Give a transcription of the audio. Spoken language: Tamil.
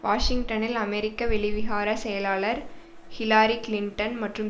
வாஷிங்டனில் அமெரிக்க வெளிவிகார செயலாளர் ஹில்லாரி கிளின்டன் மற்றும்